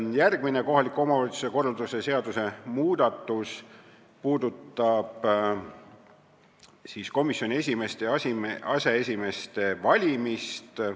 Järgmine kohaliku omavalitsuse korralduse seaduse muudatus puudutab komisjoni esimeeste ja aseesimeeste valimist.